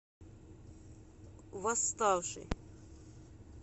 восставший